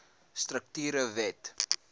strukture wet no